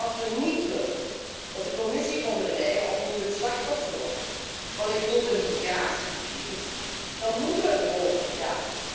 Als we niet willen dat de Commissie Von der Leyen opnieuw het slachtoffer wordt van een grote migratiecrisis, dan moeten we er volop voor gaan.